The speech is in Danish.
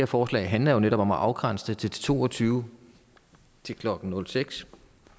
forslag handler netop om at afgrænse det to og tyve til klokken nul seks